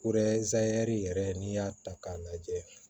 yɛrɛ n'i y'a ta k'a lajɛ